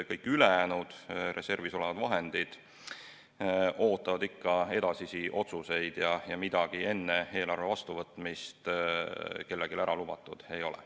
Kõik ülejäänud reservis olevad vahendid ootavad ikka edasisi otsuseid ja midagi enne eelarve vastuvõtmist kellelegi ära lubatud ei ole.